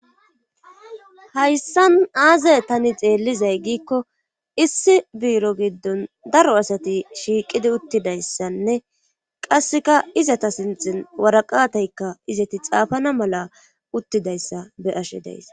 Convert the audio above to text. Hayssan aazay tani xeellizay giikko issi biiro giddon daro asati shiiqidi uttidayssanne qasseka izata sinxin waraqataykka izati xaafana mala uttidayssa be ashe days.